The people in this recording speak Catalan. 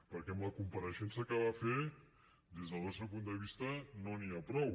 perquè amb la compareixença que va fer des del nostre punt de vista no n’hi ha prou